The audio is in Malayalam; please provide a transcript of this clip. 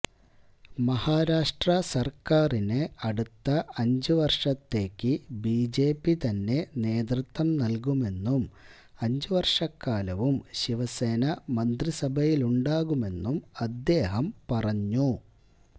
മഹാരാഷ്ട്ര സര്ക്കാരിന് അടുത്ത അഞ്ചുവര്ഷത്തേക്ക് ബിജെപി തന്നെ നേതൃത്വം നല്കുമെന്നും അഞ്ചുവര്ഷക്കാലവും ശിവസേന മന്ത്രിസഭയിലുണ്ടാകുമെന്നും അദ്ദേഹം പറഞ്ഞു